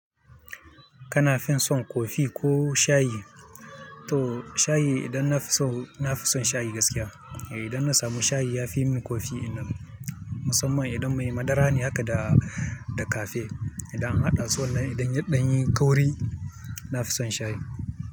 Kana fin son kofi ko shayi? To shayi idan na fi son, na fi son shayi gaskiya. Idan na samu shayi ya fi min kofi din nan musamman idan mai madara ne haka da, da cafe. Idan an haɗa su wannan idan yan ɗanyin kauri, na fi son shayi.